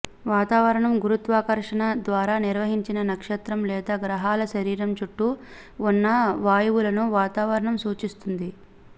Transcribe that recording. వాతావరణం గురుత్వాకర్షణ ద్వారా నిర్వహించిన నక్షత్రం లేదా గ్రహాల శరీరం చుట్టూ ఉన్న వాయువులను వాతావరణం సూచిస్తుంది